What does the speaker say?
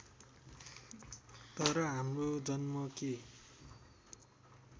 तर हाम्रो जन्म के